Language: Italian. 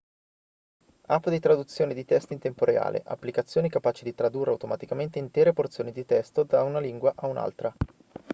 app di traduzione di testi in tempo reale applicazioni capaci di tradurre automaticamente intere porzioni di testo da una lingua a un'altra